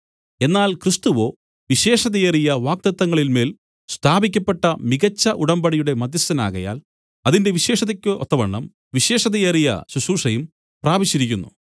എന്നാൽ ക്രിസ്തുവോ വിശേഷതയേറിയ വാഗ്ദത്തങ്ങളിന്മേൽ സ്ഥാപിക്കപ്പെട്ട മികച്ച ഉടമ്പടിയുടെ മദ്ധ്യസ്ഥനാകയാൽ അതിന്റെ വിശേഷതയ്ക്ക് ഒത്തവണ്ണം വിശേഷതയേറിയ ശുശ്രൂഷയും പ്രാപിച്ചിരിക്കുന്നു